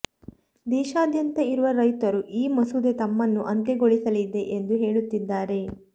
ದೇಶಾದ್ಯಂತ ಇರುವ ರೈತರು ಈ ಮಸೂದೆ ತಮ್ಮನ್ನು ಅಂತ್ಯಗೊಳಿಸಲಿದೆ ಎಂದು ಹೇಳುತ್ತಿದ್ದಾರೆ